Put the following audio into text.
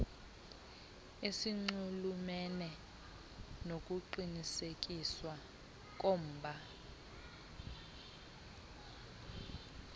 esinxulumene nokuqinisekiswa komba